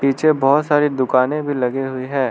पीछे बहुत सारी दुकानें भी लगे हुए हैं।